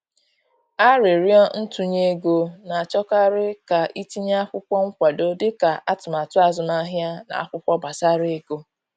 Aririo ntunye ego, na achọkarị ka i tinye akwụkwọ nkwado dị ka atụmatụ azụmahịa na akwụkwọ gbasara ego